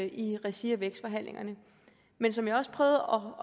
i regi af vækstforhandlingerne men som jeg også prøvede